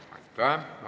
Aitäh!